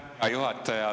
Aitäh, härra juhataja!